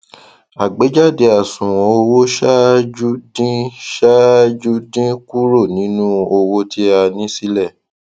àgbéjáde àṣùwọn owó ṣáájú dín ṣáájú dín kúrò nínú owó tí a ní sílẹ